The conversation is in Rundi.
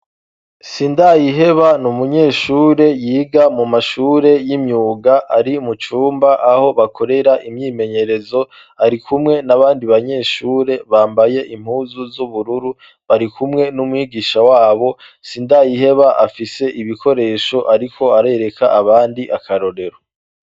Sindayiheba n'umunyeshure yiga mu mashure y'imyuga ari mu cumba aho bakorera imyimenyerezo, ari kumwe n'abandi banyeshure bambaye impuzu z'ubururu bari kumwe n'umwigisha wabo sindayiheba afise ibikoresho ariko arereka abandi akarorero